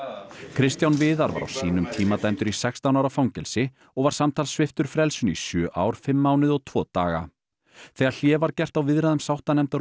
Kristján Viðar var á sínum tíma dæmdur í sextán ára fangelsi og var samtals sviptur frelsinu í sjö ár fimm mánuði og tvo daga þegar hlé var gert á viðræðum sáttanefndar